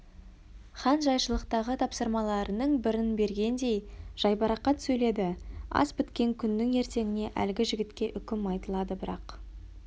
хан жайшылықтағы тапсырмаларының бірін бергендей жайбарақат сөйледі ас біткен күннің ертеңіне әлгі жігітке үкім айтылады бірақ